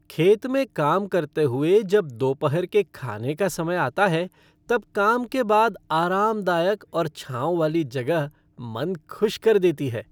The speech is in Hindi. खेत में काम करते हुए जब दोपहर के खाने का समय आता है, तब काम के बाद आरामदायक और छांव वाली जगह मन खुश कर देती है।